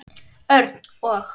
Örn og